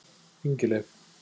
Ingileif